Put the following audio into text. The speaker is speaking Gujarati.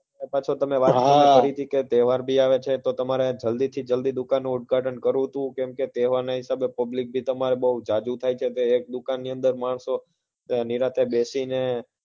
અને તમે પછી મને વાત એ કરી હતી કે હા તહેવાર આવે છે તો તમારે જલ્દી થી જલ્દી દુકાનનં ઉદ્ઘાટન કરવું હતું કેમ કે તહેવાર ના હિસાબે તમારે ત્યાં public બહુ જાજુ થાય છે દુકાન ની અંદર માણસો અને નિરાંતે બેસીને